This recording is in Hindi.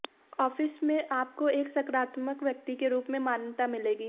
ऑफिस में आपको एक सकारात्मक व्यक्ति के रूप में मान्यता मिलेगी